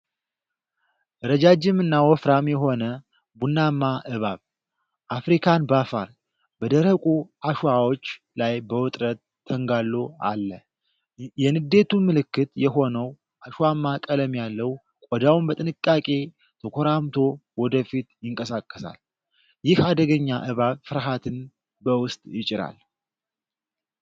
ረጃጅምና ወፍራም የሆነ ቡናማ እባብ (አፍሪካን ባፋር) በደረቁ አሸዋዎች ላይ በውጥረት ተንጋሎ አለ። የንዴቱ ምልክት የሆነው አሸዋማ ቀለም ያለው ቆዳው በጥንቃቄ ተኮራምቶ ወደ ፊት ይንቀሳቀሳል። ይህ አደገኛ እባብ ፍርሃትን በውስጥ ይጭራል።